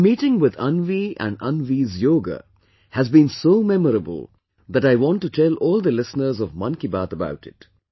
My meeting with Anvi and Anvi's yoga has been so memorable that I want to tell all the listeners of 'Mann Ki Baat' about it